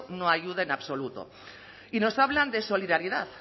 no ayuda en absoluto y nos hablan de solidaridad